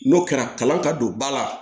N'o kɛra kalan ka don ba la